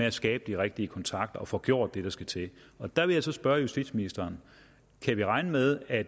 at skabe de rigtige kontakter og få gjort det der skal til og der vil jeg så spørge justitsministeren kan vi regne med at